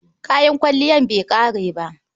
Kayan kwalliyar bai ƙare ba.